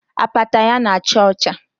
Apata ya na-acha ọcha